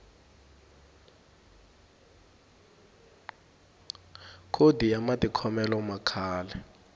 khodi ya matikhomelo ya kahle